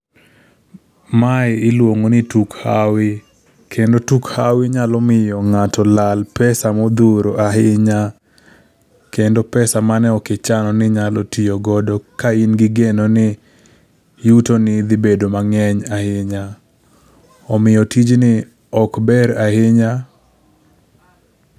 Mae iluongo ni tuk hawi. Kendo tuk hawi nyalo miyo ng'ato lal pesa modhuro ahinya. Kendo pesa mane ok ichano ni inyalo tiyo godo ka in gi geno ni yutoni dhi bedo maber ahinya. Omiyo tijni ok ber ahinya.